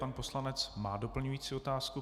Pan poslanec má doplňující otázku.